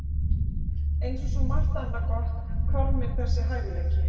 Eins og svo margt annað gott hvarf mér þessi hæfileiki.